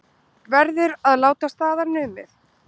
Verður að láta staðar numið